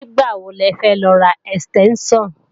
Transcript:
Nígbàwo lẹfẹ́ lọ ra ẹ̀stẹ́ńṣàn?